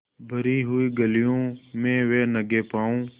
भरी हुई गलियों में वे नंगे पॉँव स्